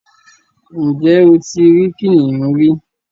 Ǹjẹ́ o ti rí kìnnìún rí?